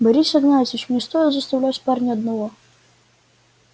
борис игнатьевич не стоит оставлять парня одного